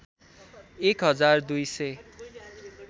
१ हजार २ सय